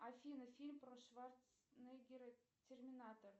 афина фильм про шварцнеггера терминатор